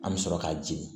An bɛ sɔrɔ ka jigin